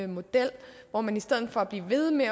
model hvor man i stedet for at blive ved med